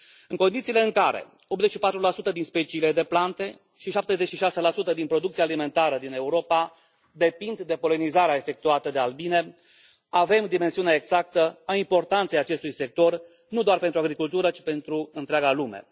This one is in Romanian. În condițiile în care 84 din speciile de plante și 76 din producția alimentară din Europa depind de polenizarea efectuată de albine, avem dimensiunea exactă a importanței acestui sector, nu doar pentru agricultură, ci pentru întreaga lume.